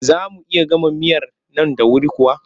Za mu iya gama miyar nan da wuri kuwa?